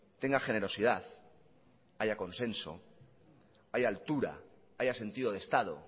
tenga generosidad haya consenso haya altura haya sentido de estado